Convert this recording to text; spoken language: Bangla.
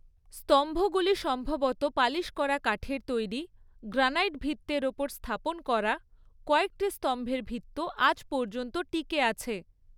স্তম্ভগুলি সম্ভবত পালিশ করা কাঠের তৈরি, গ্রানাইট ভিত্তের ওপর স্থাপন করা; কয়েকটি স্তম্ভের ভিত্ত আজ পর্যন্ত টিকে আছে।